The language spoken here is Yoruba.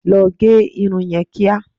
Lọ gẹ irun yẹn kíá!